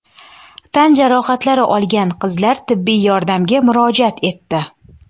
Tan jarohatlari olgan qizlar tibbiy yordamga murojaat etdi.